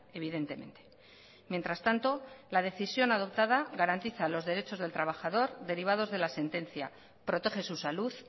evidentemente mientras tanto la decisión adoptada garantiza los derechos del trabajador derivados de la sentencia protege su salud